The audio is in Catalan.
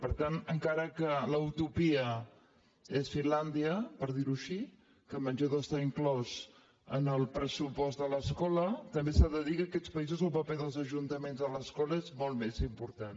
per tant encara que la utopia sigui fin·làndia per dir·ho així que el menjador està inclòs en el pressupost de l’escola també s’ha de dir que en aquests països el paper dels ajuntaments a l’escola és molt més important